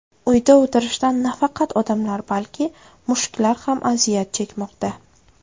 Uyda o‘tirishdan nafaqat odamlar, balki mushuklar ham aziyat chekmoqda.